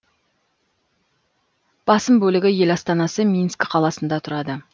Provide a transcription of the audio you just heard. басым бөлігі ел астанасы минскі қаласында тұрады